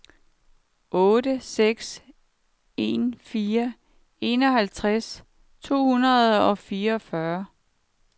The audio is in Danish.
otte seks en fire enoghalvtreds tre hundrede og fireogfyrre